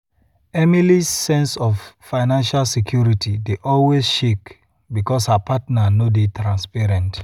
emily's sense of financial security dey always shake because her partner no dey transparent.